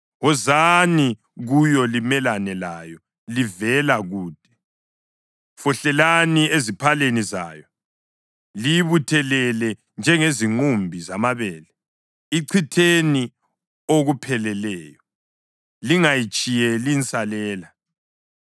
Wozani kuyo limelane layo livela kude. Fohlelani eziphaleni zayo; liyibuthelele njengezinqumbi zamabele. Ichitheni okupheleleyo lingayitshiyeli nsalela.